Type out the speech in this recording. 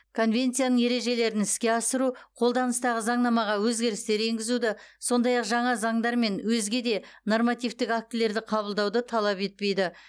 конвенцияның ережелерін іске асыру қолданыстағы заңнамаға өзгерістер енгізуді сондай ақ жаңа заңдар мен өзге де нормативтік актілерді қабылдауды талап етпейді